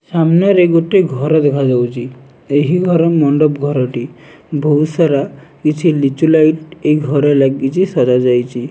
ସାମ୍ନାରେ ଗୋଟେ ଘର ଦେଖାଯାଉଛି ଏହି ଘର ମଣ୍ଡପ ଘରଟି ଭୋଉତ୍ ସାରା କିଛି ଲିଚୁ ଲାଇଟ୍ ଏଇ ଘରେ ଲାଗିଚି ସଜା ଯାଇଚି।